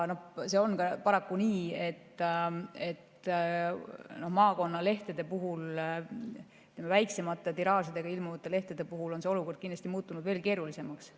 Paraku on nii, et maakonnalehtede puhul, väiksemate tiraažidena ilmuvate lehtede puhul on olukord muutunud keerulisemaks.